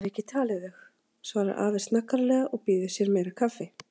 Ég hef ekki talið þau, svarar afi snaggaralega og býður sér meira kaffi.